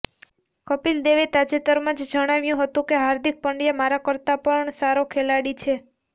કપિલ દેવે તાજેતરમાં જ જણાવ્યું હતું કે હાર્દિક પંડ્યા મારા કરતા પણ સારો ખેલાડી છે